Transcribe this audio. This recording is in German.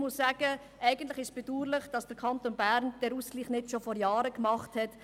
Eigentlich ist es bedauerlich, dass der Kanton Bern diesen Ausgleich nicht bereits vor Jahren getätigt hat.